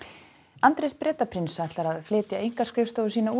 Andrés Bretaprins ætlar að flytja einkaskrifstofu sína úr